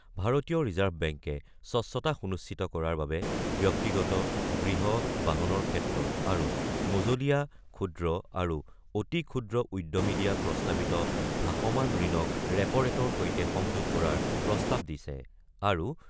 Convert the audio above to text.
ভাৰতীয় ৰিজাৰ্ভ বেংকে স্বচ্ছতা সুনিশ্চিত কৰাৰ বাবে ব্যক্তিগত, গৃহ, বাহনৰ ক্ষেত্ৰত আৰু মজলীয়া, ক্ষুদ্ৰ আৰু অতি ক্ষুদ্ৰ উদ্যমী দিয়া প্ৰস্তাৱিত ভাষমান ঋণক ৰেপ'ৰেটৰ সৈতে সংযোগ কৰাৰ প্ৰস্তাৱ দিছে। আৰু